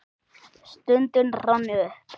Stundin rann upp.